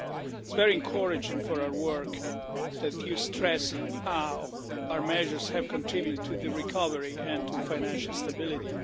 It is very encouraging for our work that you stress how our measures have contributed to the recovery and to financial stability.